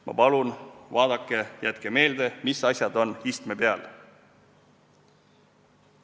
Ma palun, vaadake ja jätke meelde, mis asjad on istme peal.